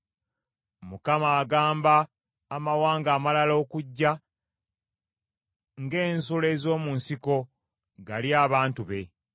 Mukama agamba amawanga amalala okujja ng’ensolo ez’omu nsiko, galye abantu be.